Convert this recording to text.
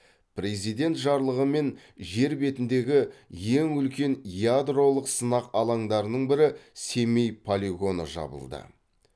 президент жарлығыммен жер бетіндегі ең үлкен ядролық сынақ алаңдарының бірі семей полигоны жабылды